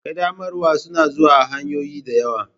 Ƙaddamarwa suna zuwa ta hanyoyi da yawa.